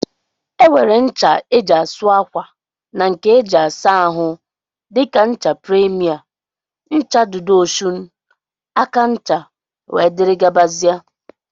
Enwere ncha eji asụ akwa na nke eji asa ahụ dika ncha premier, ncha dudu Osun, aka ncha wdg.